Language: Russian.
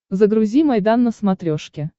загрузи майдан на смотрешке